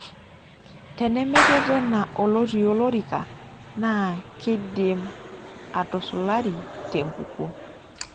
Tenemeretena olotii olorika na keidum atusulari tenkukuo.